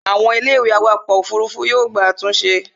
àwọn Ilé ìwé awakọ̀ òfurufú yóò gba àtúnṣe